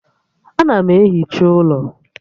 Ana m ehicha ụlọ